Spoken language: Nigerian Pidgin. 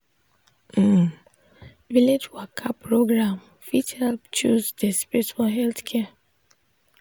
um village waka program fit help close de space for health care.